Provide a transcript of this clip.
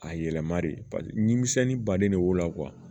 A yɛlɛmali paseke nimisɛnnin baden de b'o la